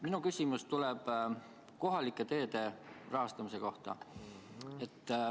Minu küsimus on kohalike teede rahastamise kohta.